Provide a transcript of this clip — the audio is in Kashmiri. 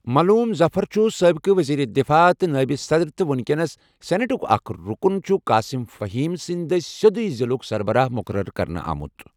ملوٗم ظفر چُھ سٲبِقہٕ ؤزیٖر دِفاع تہٕ نٲیِب صدٕر تہٕ وٕنٛکیٚس سِنیٹُک اَکھ رُکُن چھٗ قاسِم فٔہیٖم سٕنٛدِ دٔسہِ سیوٚدُے ضِلعُک سربَراہ مُقرر کرنہٕ آمُت۔